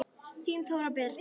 Þín Þóra Birna.